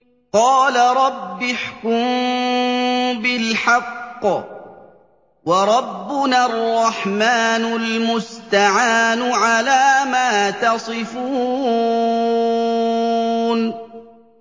قَالَ رَبِّ احْكُم بِالْحَقِّ ۗ وَرَبُّنَا الرَّحْمَٰنُ الْمُسْتَعَانُ عَلَىٰ مَا تَصِفُونَ